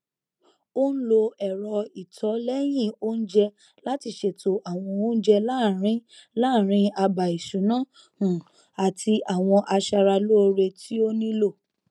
ó n lo ẹrọ ìtọlẹyìn oúnjẹ láti ṣètò àwọn oúnjẹ láàrín láàrín àbá ìṣúná um àti àwọn aṣara lóore tí ó nílò